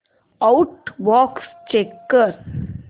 outbox check कर